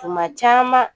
Kuma caman